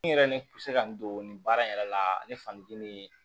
N yɛrɛ ne bɛ se ka n don baara in yɛrɛ la ne fa ni di ni